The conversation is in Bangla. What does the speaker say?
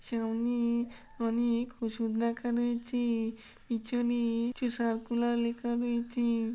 সামনে অনেক ওষুধ রাখা রয়েছে-এ। পিছনে কিছু সারকুলার লিখা রয়েছে।